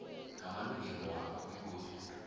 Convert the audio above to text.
ngamalungelo wakho begodu